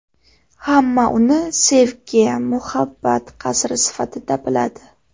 Hamma uni sevgi, muhabbat qasri sifatida biladi.